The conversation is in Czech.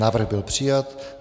Návrh byla přijat.